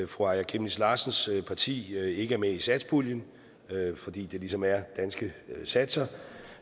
fru aaja chemnitz larsens parti ikke er med i satspuljen fordi det ligesom er danske satser